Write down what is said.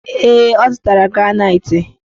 Ee, ọ zụtara granaitị.